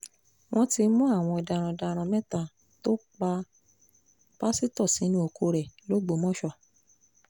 wọ́n ti mú àwọn darandaran mẹ́ta tó pa pásítọ̀ sínú oko rẹ̀ lọgbọ́mọso